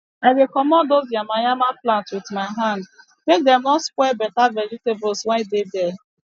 i dey comot dose yama yama plant with my hand make dem no spoil beta vegetable wey dey there